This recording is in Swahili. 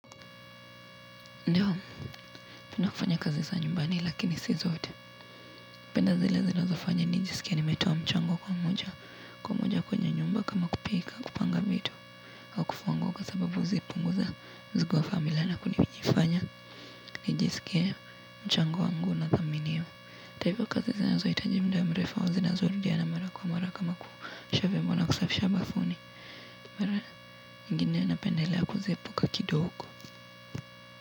Ndio nina fanya kazi za nyumbani lakini si zote penda zile zinazofanya nijisikie nimetoa mchango kwa moja kwa moja kwenye nyumba kama kupika kupanga vitu kufua nguo kupunguza mzigo wa familia na kunijifanya nijisikie mchango wangu unathaminiwa taifa kazi zinahitaji muda mrefu au zinazorudiana mara kwa mara kama kuosha viombo na kusafisha bafuni mara ingine napendelea kuziepuka kidogo.